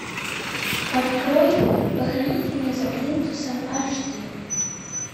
открой похороните меня за плинтусом аш ди